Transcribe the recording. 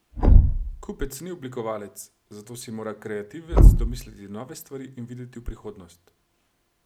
Kupec ni oblikovalec, zato si mora kreativec domisliti nove stvari in videti v prihodnost.